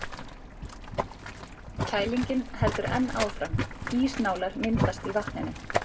Kælingin heldur enn áfram, ísnálar myndast í vatninu.